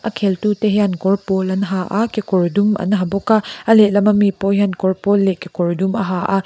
kheltu te hian kawr pawl an ha a kekawr dum an ha bawka a lehlam ami pawh hian kawr pawl leh kekawr dum a ha a.